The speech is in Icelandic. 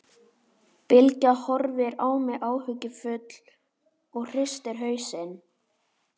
Bylgja horfir á mig áhyggjufull og hristir hausinn.